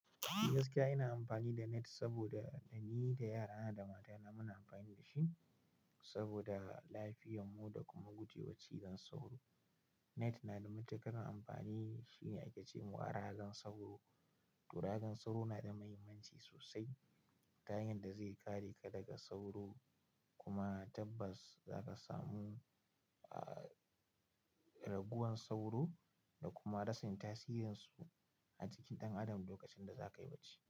Gaskiya ina amfani da net saboda ni da yara na da mata na muna amfani da shi saboda lafiyan mu da kuma guje wa cizon sauro. Net na da matuƙar amfani shine ace a ragan sauro to ragan sauro na da mahimmanci sosai ta hanyar da zai kare ka daga sauro kuma tabbas za ka samu, ah, raguwan sauro da kuma rasin tasirin su a cikin ɗan adam lokacin da za ka yi bacci.